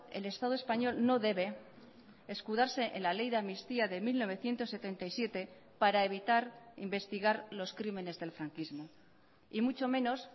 el estado español no debe escudarse en la ley de amnistía de mil novecientos setenta y siete para evitar investigar los crímenes del franquismo y mucho menos